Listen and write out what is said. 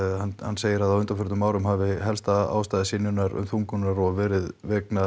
segir að á undanförnum árum hafi helsta ástæða synjunar þungunarrofs verið vegna